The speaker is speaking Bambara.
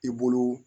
I bolo